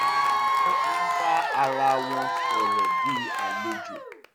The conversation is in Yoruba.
wọ́n ń bá ara wọn sọ̀rọ̀ bí àlejò